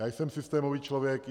Já jsem systémový člověk.